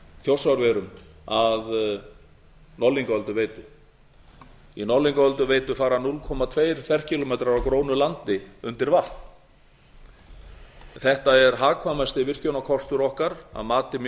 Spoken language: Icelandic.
þjórsárverum að norðlingaölduveitu í norðlingaölduveitu fara tveir ferkílómetrar af grónu landi undir vatn þetta er hagkvæmasti virkjunarkostur okkar að mati mjög